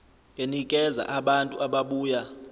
enikeza abantu ababuya